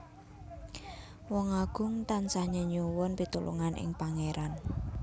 Wong Agung tansah nyenyuwun pitulungan ing Pangéran